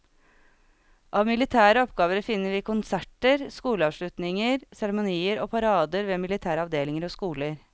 Av militære oppgaver finner vi konserter, skoleavslutninger, seremonier og parader ved militære avdelinger og skoler.